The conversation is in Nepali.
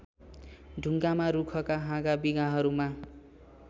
ढुङ्गामा रूखका हाँगाविँगाहरूमा